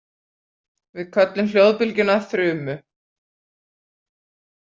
Við köllum hljóðbylgjuna þrumu.